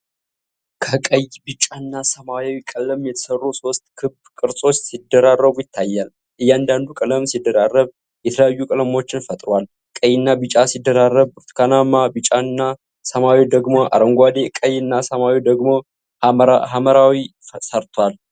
ከቀይ፣ ቢጫና ሰማያዊ ቀለም የተሰሩ ሶስት ክብ ቅርጾች ሲደራረቡ ይታያሉ። እያንዳንዱ ቀለም ሲደራረብ የተለያዩ ቀለሞችን ፈጥሯል። ቀይና ቢጫ ሲደራረብ ብርቱካናማ፣ ቢጫና ሰማያዊ ደግሞ አረንጓዴ፣ ቀይና ሰማያዊ ደግሞ ሐምራዊ ሰርቷል።